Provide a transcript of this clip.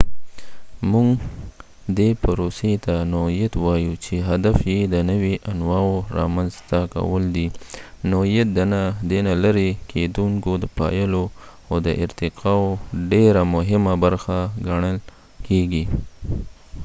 مونږ دې پروسې ته نوعیت وایو چې هدف یې د نوي انواعو رامنځته کول دي نوعیت د نه لرې کیدونکو پایلو او د ارتقاء یو ډيره مهمه برخه ګڼل کیږي